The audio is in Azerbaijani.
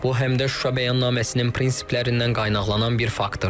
Bu həm də Şuşa bəyannaməsinin prinsiplərindən qaynaqlanan bir faktordur.